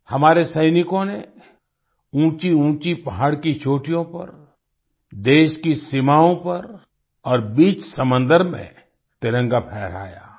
हमारे सैनिकों ने ऊँचीऊँची पहाड़ की चोटियों पर देश की सीमाओं पर और बीच समंदर में तिरंगा फहराया